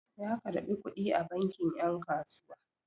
Ya karɓi kuɗi a banki 'yan kasuwa.